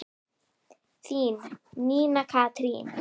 Þín, Nína Katrín.